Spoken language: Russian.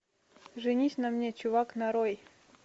женись на мне чувак нарой